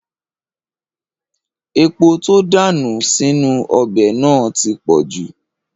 Epo tó dà sínú ọbẹ̀ náà ti pọ̀jù